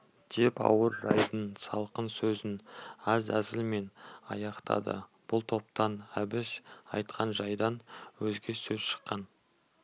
деп ауыр жайдың салқын сөзін аз әзілмен аяқтады бұл топтан әбіш айтқан жайдан өзге сөз шыққан